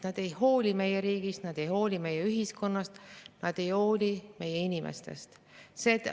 Nad ei hooli meie riigist, nad ei hooli meie ühiskonnast ja nad ei hooli meie inimestest.